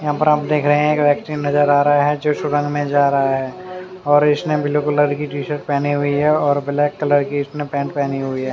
यहाँ पर आप देख रहे है एक व्यक्ति नज़र आ रहा है जो सुरंग में जा रहा है और उसने ब्लू कलर टीशर्ट पहनी हुयी है और ब्लैक कलर की उसने पैंट पहनी हुयी है।